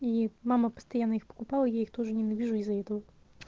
и мама постоянно их покупала я их тоже ненавижу из-за этого